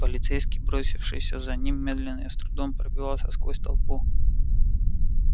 полицейский бросившийся за ним медленно и с трудом пробивался сквозь толпу